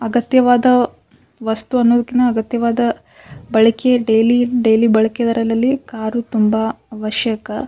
ಅಗತ್ಯವಾದ ವಸ್ತು ಅನ್ನುದಕಿನ್ನ ಅಗತ್ಯವಾದ ಬಳಕೆ ಡೈಲಿ ಡೈಲಿ ಬಳಕೆ ಅಲ್ಲಲ್ಲಿ ಕಾರು ತುಂಬ ಅವಶ್ಯಕ .